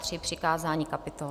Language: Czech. III - přikázání kapitol.